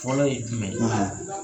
Fɔlɔ ye jumɛn ye?